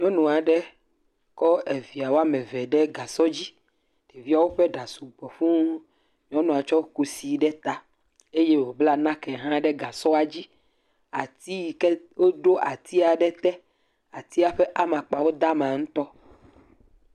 Nyɔnu aɖe kɔ via ame eve ɖe gasɔ dzi. Ɖeviawo ƒe ɖa sugbɔ fũu. Nyɔnua tsɔ kusi ɖe ta eye wobla nake hã ɖe gasɔa dzi. Woɖo ati aɖe te, atia ƒe amakpawo de ama ŋutɔ.